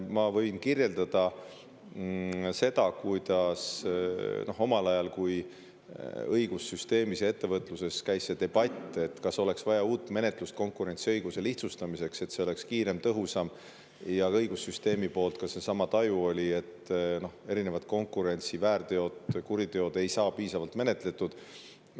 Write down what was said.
Ma võin kirjeldada seda, kuidas omal ajal, kui õigussüsteemis ja ettevõtluses käis debatt, kas konkurentsiõiguse lihtsustamiseks oleks vaja uut menetlust, mis oleks kiirem ja tõhusam, siis õigussüsteemis seesama taju ju oli, et erinevad konkurentsiväärteod, ‑kuriteod ei saa piisavalt menetletud.